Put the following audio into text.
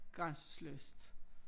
Grænseløst